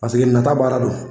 Paseke nata baara don.